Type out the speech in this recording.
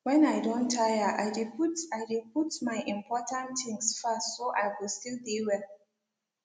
when i don tire i de put i de put my important things fast so i go still de well